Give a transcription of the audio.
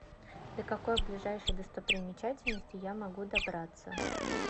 до какой ближайшей достопримечательности я могу добраться